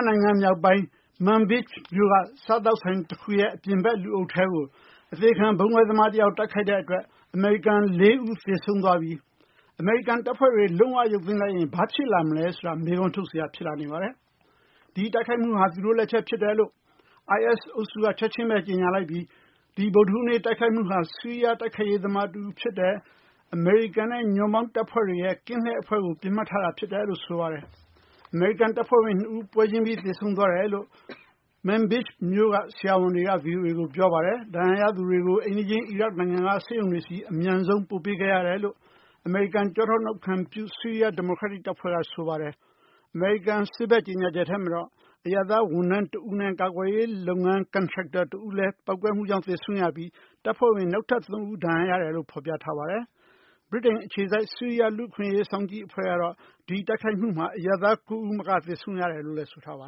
နိုင်ငံ မြောက်ပိုင်း Manbij မြို့ က စားသောက်ဆိုင် တခု အပြင်ဘက် လူအုပ်ထဲကို အသေခံဗုံးခွဲသမား တယောက် တိုက်ခိုက်တဲ့ အတွက် အမေရိကန် ၄ ဦး သေဆုံးသွားပြီး အမေရိကန် တပ်ဖွဲ့တွေ လုံး၀ ရုပ်သိမ်း လိုက်ရင် ဘာတွေ ဖြစ်လာမလဲ ဆိုတာ မေးခွန်းထုတ်စရာ ဖြစ်လာနေပါတယ်။ ဒီတိုက်ခိုက်မှုဟာ သူတို့ လက်ချက် ဖြစ်တယ်လို့ IS အုပ်စုက ချက်ချင်းဘဲ ကြေညာလိုက်ပြီး ဒီဗုဒ္ဓဟူးနေ့ တိုက်ခိုက်မှုဟာ ဆီးရီးယား တိုက်ခိုက်ရေး သမားတဦး ဖြစ်တယ်၊ အမေရိကန်နဲ့ ညွန့်ပေါင်းတပ်ဖွဲ့တွေရဲ့ကင်းလှည့် အဖွဲ့ကို ပစ်မှတ်ထားတာ ဖြစ်တယ်လို့ ဆိုပါတယ်။ အမေရိကန် တပ်ဖွဲ့ဝင် နှစ်ဦး ပွဲချင်းပြီး သေဆုံးသွားတယ်လို့ Manbij မြို့က ဆရာဝန်တွေက ဗွီအိုအေကို ပြောပါတယ်။ ဒဏ်ရာရသူတွေကို အိမ်နီးချင်း အီရတ် နိုင်ငံက ဆေးရုံတွေဆီ အမြန်ဆုံး ပို့ပေးခဲ့ရတယ်လို့ အမေရိကန် ကျောထောက်နောက်ခံပြု ဆီးရီးယား ဒီမိုကရက်တစ်တပ်ဖွဲ့က ဆိုပါတယ်။ အမေရိကန် စစ်ဘက် ကြေညာချက်ထဲမှာတော့ အရပ်သား ဝန်ထမ်း တဦးနဲ့ ကာကွယ်ရေး လုပ်ငန်း ကန်ထရိုက်တာ တဦးလည်း ပေါက်ကွဲမှုကြောင့် သေဆုံးရပြီး တပ်ဖွဲ့ဝင် နောက်ထပ် သုံးဦး ဒဏ်ရာ ရတယ်လို့ ဖော်ပြထားပါတယ်။ ဗြိတိန် အခြေစိုက် ဆီးရီးယား လူ့အခွင့်အရေး စောင့်ကြည့်အဖွဲ့ကတော့ ဒီတိုက်ခိုက်မှုမှာ အရပ်သား ၉ဦးမက သေဆုံးရတယ်လို့လည်း ဆိုထားပါ